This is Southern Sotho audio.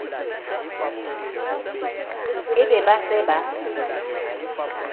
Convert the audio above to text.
e be ba se ba